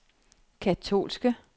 katolske